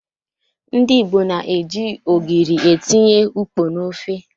Ndị Igbo na-eji ogiri etinye ukpo n'ofe.